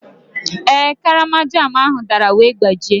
Ee, karama jam ahụ dara wee gbajie.